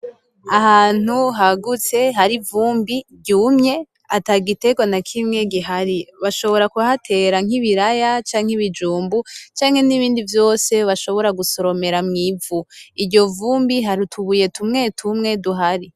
Ahantu hagutse hari ivumbi ry'umye atagiterwa n'akimwe gihari bashobora kuhatera nk'ibiraya canke ibijumbu canke nibindi vyose bashobora gusoromera mwivu ,Iryo vumbi hari utubuye tumwe tumwe duhari.